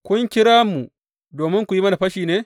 Kun kira mu domin ku yi mana fashi ne?